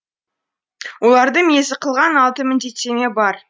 оларды мезі қылған алты міндеттеме бар